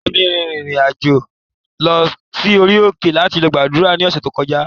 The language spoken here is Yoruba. Ìyáa mi rìnrìn-àjò lọ sí orí òkè láti lọ gbàdúrà ní ọ̀sẹ̀ tí ó kọjá